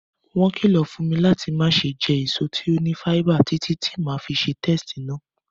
Won kìlọ̀ fún mi láti mase je èso to ni fáíbà títí ti ma fi se testí náà